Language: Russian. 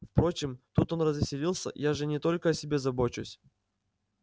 впрочем тут он развеселился я же не только о себе забочусь